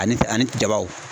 Ani ani jabaw.